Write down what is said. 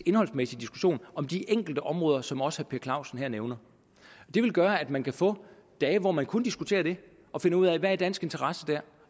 indholdsmæssig diskussion om de enkelte områder som også herre per clausen her nævner det vil gøre at man vil få dage hvor man kun diskuterer det og finder ud af hvad i dansk interesse der